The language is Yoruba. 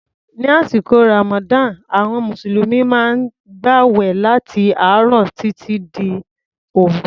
Ní àsìkò Ramadan, àwọn Mùsùlùmí maá ń gbàwẹ̀ láti àárọ̀ títí dé òru.